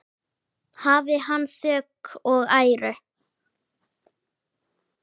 Hafi hann þökk og æru!